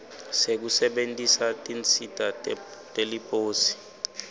sekusebentisa tinsita teliposi